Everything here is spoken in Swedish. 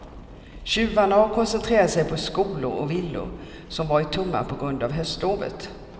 Tjuvarna har koncentrerat sig på skolor och villor som varit tomma på grund av höstlovet.